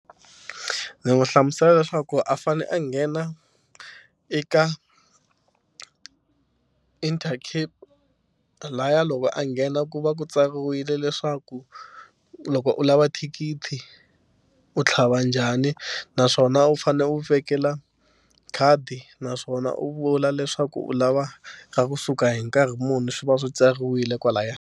Ndzi n'wi hlamusela leswaku a fanele a nghena eka Intercape lahaya loko a nghena ku va ku tsariwile leswaku loko u lava thikithi u tlhava njhani naswona u fanele u vekela khadi naswona u vula leswaku u lava ka kusuka hi nkarhi muni swi va swi tsariwile kwalayani.